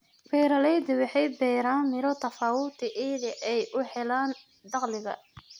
Beeraleyda waxay beeraan miro tofauti ili ay u helaan dakhliga.